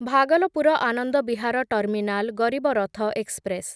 Bhagalpur Anand Vihar terminal Garib Rath express